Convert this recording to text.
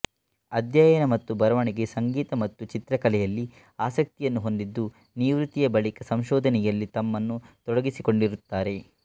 ಅಧ್ಯಯನ ಮತ್ತು ಬರವಣಿಗೆ ಸಂಗೀತ ಮತ್ತು ಚಿತ್ರಕಲೆಯಲ್ಲಿ ಆಸಕ್ತಿಯನ್ನು ಹೊಂದಿದ್ದು ನಿವೃತ್ತಿಯ ಬಳಿಕ ಸಂಶೋಧನೆಯಲ್ಲಿ ತಮ್ಮನ್ನು ತೊಡಗಿಸಿಕೊಂಡಿರುತ್ತಾರೆ